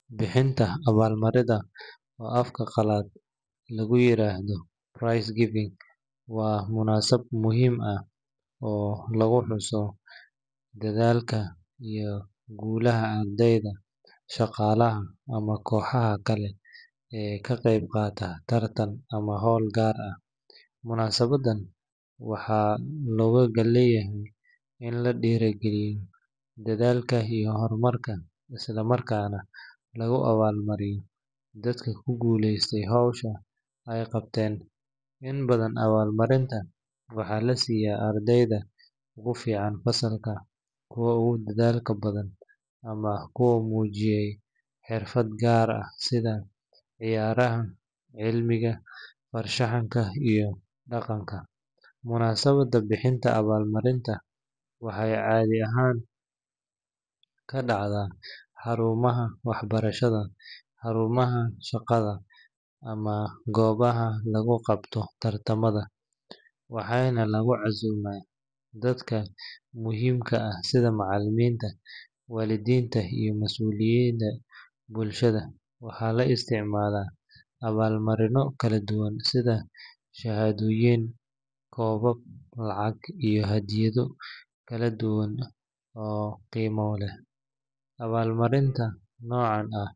Bixinta awal marinta oo afka qalaad lugu yirahdo price giving waa munasab muhiim ah oo lagu xuso dadhalka iyo gulaha ardeyda shaqalaha ama koxaha kale ee ka qeyb qataa tartan ama hol gar ah munaasabadan waxaa loga dan leyahay in la dira galiyo dadhalka iyo hormarka isla markas nah lagu awal mariyo dadka ku guested howshan, inta badan waxaa la siya ardeyda fasalka kuwa ogu howsha badan ama kuwa mujiyey xirfaad gar ah sitha ciyaraha cilmiga far shaxanka iyo daqanka, munasabaada bixinta awal marinta waxee cadhi ahan kadacdaa xarumaha wax barashaada, xarumaha shaqaada ama gobaha lagu qabto tar tamada, waxana lagu casuma dadka sitha macaliminta walidinta iyo masuliyinta bulshaada awal marino kala duwan sitha shahadoyin kebab lacag iyo hadiyad yin kala duwan oo qimo leh awal marinta nocan.